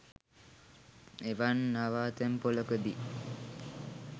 එවන් නවතැන්පොළකදී